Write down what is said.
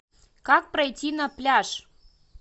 как пройти на пляж